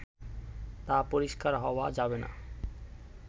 তা পরিষ্কার হওয়া যাবে না